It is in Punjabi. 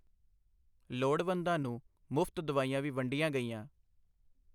ਲੋੜਵੰਦਾਂ ਨੂੰ ਮੁਫ਼ਤ ਦਵਾਈਆਂ ਵੀ ਵੰਡੀਆਂ ਗਈਆਂ।